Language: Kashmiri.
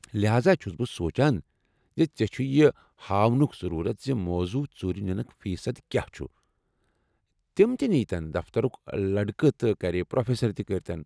لہاذا، چھس بہٕ سونٛچان زِ ژےٚ چُھے یہِ ہاونُك ضروٗرت زِ موضوع ژوٗرِ نِنُك فی صد كیاہ چُھ ، تمہِ تہِ نیتن دفترُك لڈكہٕ تہٕ كرِ پروفیسر تہِ کٔرتن۔